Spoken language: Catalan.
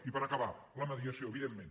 i per acabar la mediació evidentment